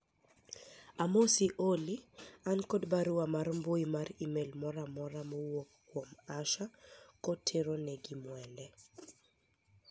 amosi Olly an kod barua mar mbui mar email moro amora mowuok kuom Asha kotenore gi Mwende